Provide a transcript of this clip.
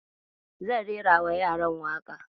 Zan rerawa yaran waƙa.